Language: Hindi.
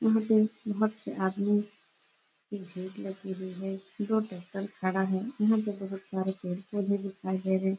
यहाँ पे बहोत से आदमी की भीड़ लगी हुई है। दो टेक्टर खड़ा है। यहाँ पे बहोत सारे पेड़ पौधे दिखाई दे रहे हैं।